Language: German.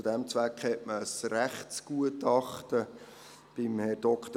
Zu diesem Zweck wurde ein Rechtsgutachten bei Dr. iur.